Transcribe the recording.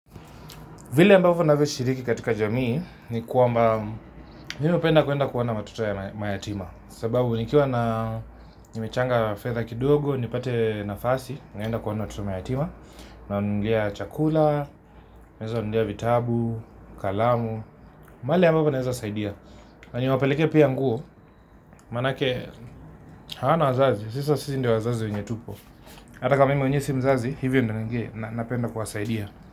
Vile ambavyo navyoshiriki katika jamii ni kwamba mimi upenda kuenda kuona watoto mayatima sababu nikiwa na nimechanga fedha kidogo nipate nafasi naenda kuwaona watoto mayatima. Nawanunulia chakula, naeza wanunulia vitabu, kalamu, mahali ambapo naeza saidia na niwapelekee pia nguo maanake hawana wazazi, sasa sisi ndio wazazi wenye tupo ata kama mimi mwenyewe si mzazi hivyo ndio napenda kuwasaidia.